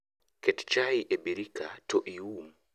Ket chai e birika to ium